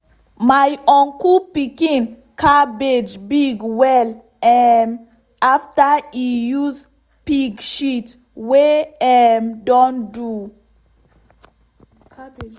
my uncle pikin cabbage big well um after e use pig shit wey um don do.